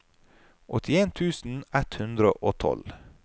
åttien tusen ett hundre og tolv